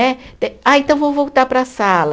Né. Ah, então vou voltar para a sala.